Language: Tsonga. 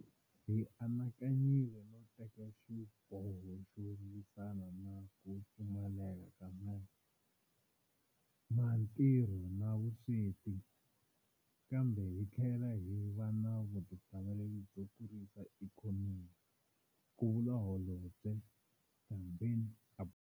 Hi anakanyile no teka xiboho xo lwisana na ku pfumaleka ka matirho na vusweti, kambe hi tlhela hi va na vutihlamuleri byo kurisa ikhonomi, ku vula Holobye Ndabeni-Abrahams.